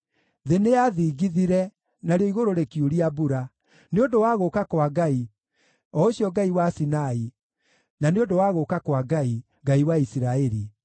thĩ nĩyathingithire, narĩo igũrũ rĩkiuria mbura, nĩ ũndũ wa gũũka kwa Ngai, o Ũcio Ngai wa Sinai, na nĩ ũndũ wa gũũka kwa Ngai, Ngai wa Isiraeli.